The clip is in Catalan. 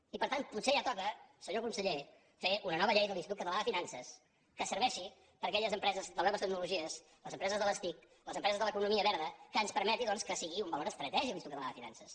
i tant potser ja toca senyor conseller fer una nova llei de l’institut català de finances que serveixi per a aquelles empreses de noves tecnologies les empreses de les tic les empreses de l’economia verda que ens permeti doncs que sigui un valor estratègic l’institut català de finances